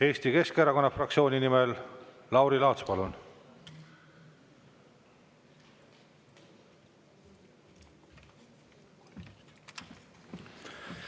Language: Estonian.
Eesti Keskerakonna fraktsiooni nimel Lauri Laats, palun!